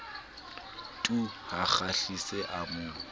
tu ha kgahliso a mo